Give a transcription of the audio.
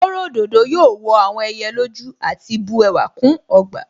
Kóro òdòdó yóò wọ àwọn ẹyẹ lójú àti bu ẹwà kún ọgbà